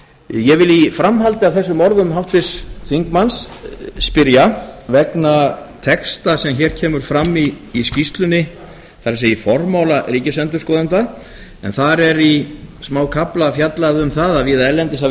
ég vil í framhaldi af þessum orðum háttvirts þingmanns spyrja vegna texta sem hér kemur fram í skýrslunni það er í formála ríkisendurskoðanda en þar er í smákafla fjallað um það að víða erlendis hafi